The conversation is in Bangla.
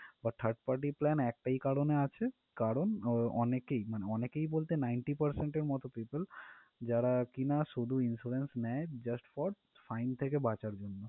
আর third party plan একটা কারণেই আছে কারণ আহ অনেকেই মানে অনেকেই বলতে ninety percent এর মত people যারা কিনা শুধু Insurance নেয় just for fine থেকে বাঁচার জন্য।